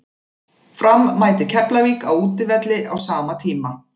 Fram mætir Keflavík á útivelli á sama tíma.